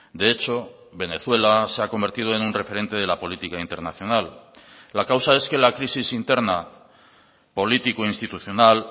de hecho venezuela se ha convertido en un referente de la política internacional la causa es que la crisis interna político institucional